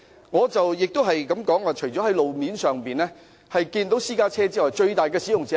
我亦提出，路面上除了私家車之外，最大的使用者是甚麼？